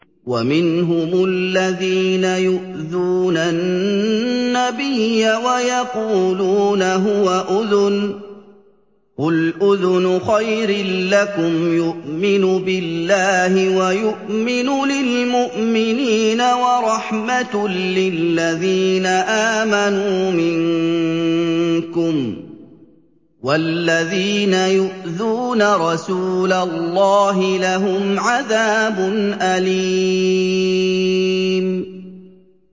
وَمِنْهُمُ الَّذِينَ يُؤْذُونَ النَّبِيَّ وَيَقُولُونَ هُوَ أُذُنٌ ۚ قُلْ أُذُنُ خَيْرٍ لَّكُمْ يُؤْمِنُ بِاللَّهِ وَيُؤْمِنُ لِلْمُؤْمِنِينَ وَرَحْمَةٌ لِّلَّذِينَ آمَنُوا مِنكُمْ ۚ وَالَّذِينَ يُؤْذُونَ رَسُولَ اللَّهِ لَهُمْ عَذَابٌ أَلِيمٌ